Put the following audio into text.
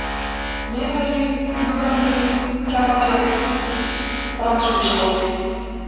Miðhagi, Gljúframýri, Tjarnartjörn, Brandshúsahóll